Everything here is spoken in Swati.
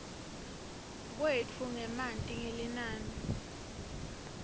kwetfu ngemanti ngelinani